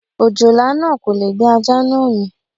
Òjòlá náà kò lè gbé ajá náà mì.